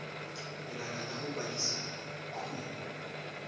lebaka la go kwadisa kumo